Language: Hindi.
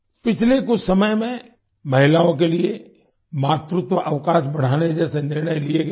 पिछले कुछ समय में महिलाओं के लिए मातृत्व अवकाश बढ़ाने जैसे निर्णय लिए गए हैं